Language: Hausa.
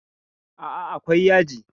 Aa, akwai yaji